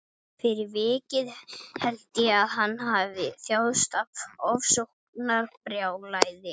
Hann var maður aðlögunarinnar fram í fingurgóma, sagði